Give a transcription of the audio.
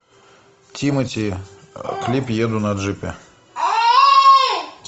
тимати клип еду на джипе